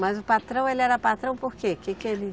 Mas o patrão, ele era patrão por quê? Que que ele